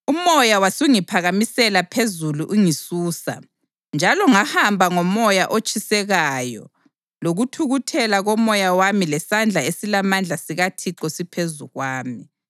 UMoya wasungiphakamisela phezulu ungisusa, njalo ngahamba ngomoya otshisekayo lokuthukuthela komoya wami lesandla esilamandla sikaThixo siphezu kwami.